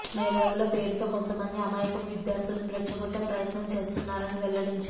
మేధావుల పేరుతో కొంతమంది అమాయకపు విద్యార్థులను రెచ్చగొట్టే ప్రయత్నం చేస్తున్నారని వెల్లడించారు